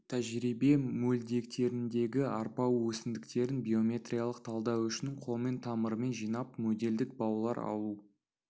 тәжірибе мөлдектеріндегі арпа өсімдіктерін биометриялық талдау үшін қолмен тамырымен жинап моделдік баулар алу